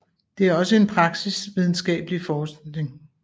Det er også en praksis videnskabelig forskning